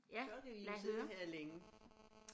Så kan vi sidde her længe